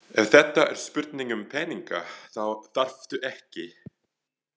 Ef þetta er spurning um peninga þá þarftu ekki.